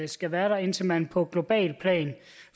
skal være der indtil man på globalt plan